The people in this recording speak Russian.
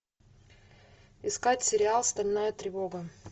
искать сериал стальная тревога